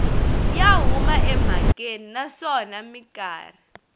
ya huma emhakeni naswona mikarhi